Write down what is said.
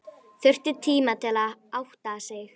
Þurfti tíma til að átta sig.